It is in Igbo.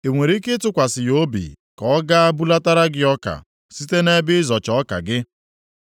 I nwere ike ịtụkwasị ya obi ka o gaa bulatara gị ọka site nʼebe ịzọcha ọka gị?